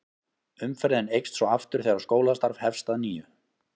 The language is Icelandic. Umferðin eykst svo aftur þegar skólastarf hefst að nýju.